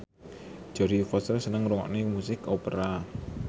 Jodie Foster seneng ngrungokne musik opera